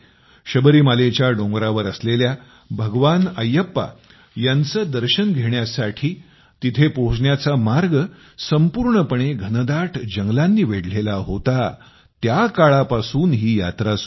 शबरीमालेच्या डोंगरावर असलेल्या भगवान अय्यप्पा यांचे दर्शन घेण्यासाठी तिथे पोहोचण्याचा मार्ग संपूर्णपणे घनदाट जंगलांनी वेढलेला होता त्या काळापासून ही यात्रा सुरु आहे